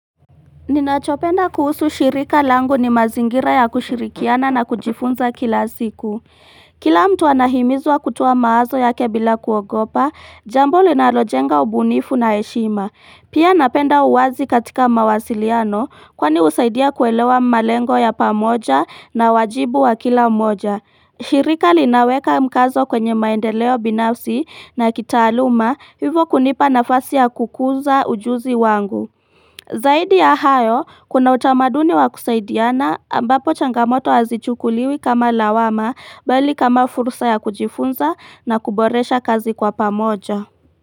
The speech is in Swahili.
Ninachopenda kuhusu shirika langu ni mazingira ya kushirikiana na kujifunza kila siku. Kila mtu anahimizwa kutoa mawazo yake bila kuogopa, jambo linalojenga ubunifu na heshima. Pia napenda uwazi katika mawasiliano kwani husaidia kuelewa malengo ya pamoja na wajibu wa kila mmoja. Shirika linaweka mkazo kwenye maendeleo binafsi na kitaaluma hivyo kunipa nafasi ya kukuza ujuzi wangu. Zaidi ya hayo, kuna utamaduni wa kusaidiana ambapo changamoto hazichukuliwi kama lawama bali kama fursa ya kujifunza na kuboresha kazi kwa pamoja.